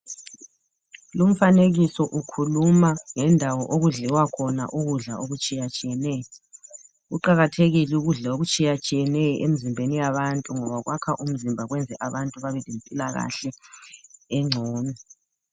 Lumfanekiso ukhuluma ngendawo okudliwa khona ukudla okutshiyatshiyeneyo kuqakathekile ukudla okutshiyatshiyeneyo emzimbeni yabantu ngoba kwakha imizimba kwenze abantu babelempilakahle engcono.